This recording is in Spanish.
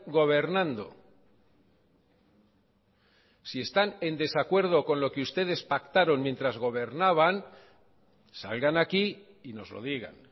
gobernando si están en desacuerdo con lo que ustedes pactaron mientras gobernaban salgan aquí y nos lo digan